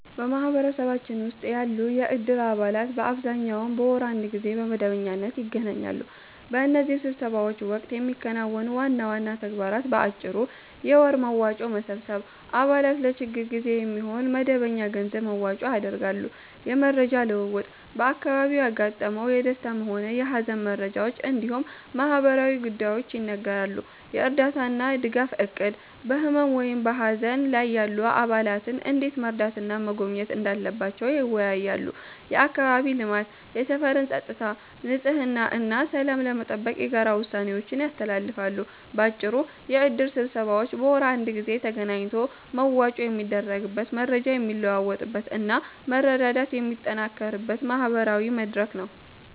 በማህበረሰባችን ውስጥ ያሉ የእድር አባላት በአብዛኛው በወር አንድ ጊዜ በመደበኛነት ይገናኛሉ። በእነዚህ ስብሰባዎች ወቅት የሚከናወኑ ዋና ዋና ተግባራት በአጭሩ፦ የወር መዋጮ መሰብሰብ፦ አባላት ለችግር ጊዜ የሚሆን መደበኛ የገንዘብ መዋጮ ያደርጋሉ። የመረጃ ልውውጥ፦ በአካባቢው ያጋጠሙ የደስታም ሆነ የሃዘን መረጃዎች እንዲሁም ማህበራዊ ጉዳዮች ይነገራሉ። የእርዳታና ድጋፍ እቅድ፦ በህመም ወይም በሃዘን ላይ ያሉ አባላትን እንዴት መርዳትና መጎብኘት እንዳለባቸው ይወያያሉ። የአካባቢ ልማት፦ የሰፈርን ፀጥታ፣ ንጽህና እና ሰላም ለመጠበቅ የጋራ ውሳኔዎችን ያስተላልፋሉ። ባጭሩ፤ የእድር ስብሰባዎች በወር አንድ ጊዜ ተገናኝቶ መዋጮ የሚደረግበት፣ መረጃ የሚለዋወጥበት እና መረዳዳት የሚጠናከርበት ማህበራዊ መድረክ ነው።